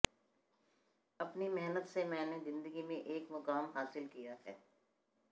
अपनी मेहनत से मैंने जिंदगी में एक मुकाम हासिल किया है